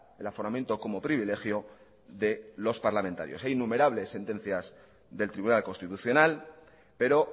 el aforamiento como privilegio de los parlamentarios hay innumerables sentencias del tribunal constitucional pero